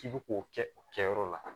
K'i bɛ k'o kɛ o kɛyɔrɔ la